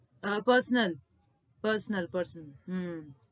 હા personal prsonal personal હમ